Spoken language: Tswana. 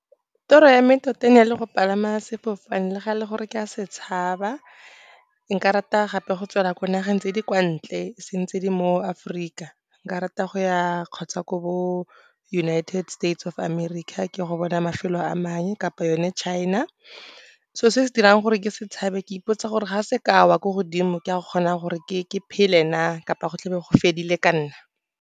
Toro ya me tota e ne e le go palama sefofane, le ga e le gore ke a se tshaba. Nka rata gape go tswela ko nageng tse di kwa ntle, e seng tse di mo Aforika. Nka rata go ya kgotsa ko bo United States of America ke lo go bona mafelo a mangwe, kapa yone China. Selo se dirang gore ke se tshabe, ke ipotsa gore ga se ka wa ko godimo, ke a kgona gore ke phele na kapa go tla be go fedile ka nna.